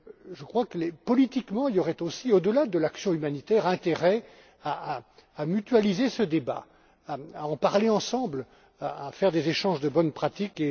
Je crois que, politiquement, il y aurait aussi, au delà de l'action humanitaire, intérêt à mutualiser ce débat, à en parler ensemble, à faire des échanges de bonnes pratiques.